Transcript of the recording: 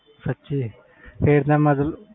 ਅੱਛੇ ਫਿਰ ਤਾ ਮਤਬਲ